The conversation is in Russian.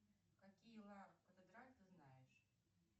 какие ты знаешь